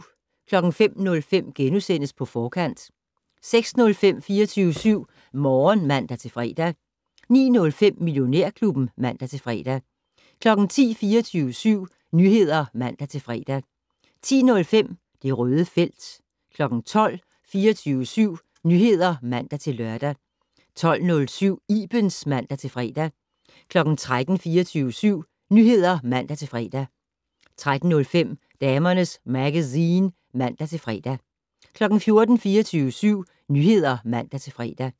05:05: På Forkant * 06:05: 24syv Morgen (man-fre) 09:05: Millionærklubben (man-fre) 10:00: 24syv Nyheder (man-fre) 10:05: Det Røde felt 12:00: 24syv Nyheder (man-lør) 12:07: Ibens (man-fre) 13:00: 24syv Nyheder (man-fre) 13:05: Damernes Magazine (man-fre) 14:00: 24syv Nyheder (man-fre)